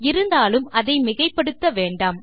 இருந்தாலும் அதை மிகைப்படுத்த வேண்டாம்